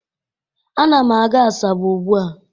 A na m aga Asaba ugbua